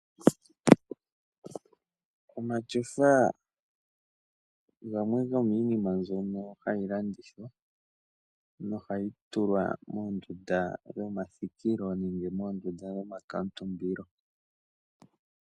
Omatyofa gamwe gomiinima mbyono hayi landithwa nohayi tulwa moondunda ndhono dhomathikilo nenge moondunda dhomakuutumbilo.